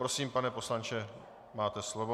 Prosím, pane poslanče, máte slovo.